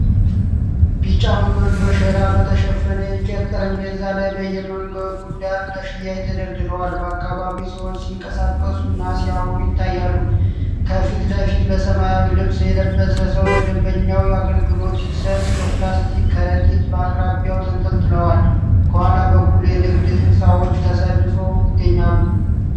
ቢጫ ሙዞች በሸራ በተሸፈኑ የእንጨት ጠረጴዛዎች ላይ በየመንገዱ ዳር ለሽያጭ ተደርድረዋል:: በአካባቢው ሰዎች ሲንቀሳቀሱና ሲያወሩ ይታያሉ:: ከፊት ለፊቱ በሰማያዊ ልብስ የለበሰ ሰው ለደንበኛው አገልግሎት ሲሰጥ የፕላስቲክ ከረጢቶች በአቅራቢያው ተንጠልጥለዋል:: ከኋላ በኩል የንግድ ሕንፃዎች ተሰልፈው ይገኛሉ።